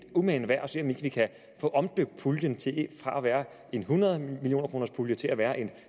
umagen værd at se om ikke vi kan få omdøbt puljen fra at være en hundrede millioner kroners pulje til at være